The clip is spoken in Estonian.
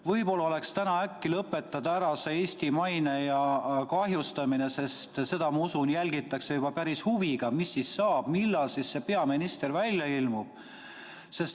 Võib-olla oleks täna aeg lõpetada ära see Eesti maine kahjustamine, sest seda, ma usun, jälgitakse juba päris huviga, mis siis saab, millal see peaminister välja ilmub.